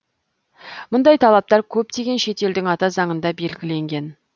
мұндай талаптар көптеген шет елдің ата заңында белгіленген